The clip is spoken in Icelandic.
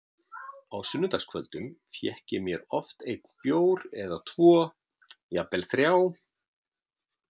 Á sunnudagskvöldum fékk ég mér oft einn bjór eða tvo, jafnvel þrjá.